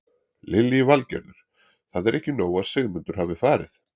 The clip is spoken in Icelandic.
Lillý Valgerður: Það er ekki nóg að Sigmundur hafi farið?